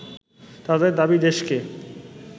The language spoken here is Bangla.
তাদের দাবি দেশকে